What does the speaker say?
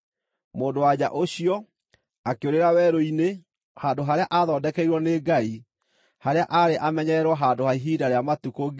Mũndũ-wa-nja ũcio akĩũrĩra werũ-inĩ, handũ harĩa aathondekeirwo nĩ Ngai, harĩa aarĩ amenyererwo handũ ha ihinda rĩa matukũ 1,260.